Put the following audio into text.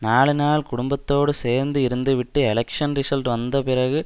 நாலுநாள் குடும்பத்தோடு சேர்ந்து இருந்துவிட்டு எலெக்ஷ்ன் ரிசல்ட் வந்தபிறகு